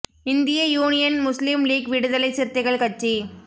இந்திய Union Muslim League விடுதலை சிறுத்தைகள் கட்சி